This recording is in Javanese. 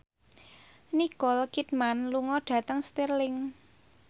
Nicole Kidman lunga dhateng Stirling